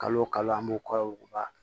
Kalo o kalo an b'o kɔri